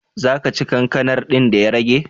Za ka ci kankanar din da ya rage?